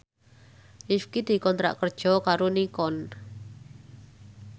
Rifqi dikontrak kerja karo Nikon